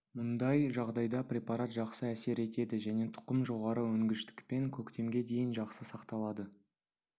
мұндай жағдайда препарат жақсы әсер етеді және тұқым жоғары өнгіштікпен көктемге дейін жақсы сақталады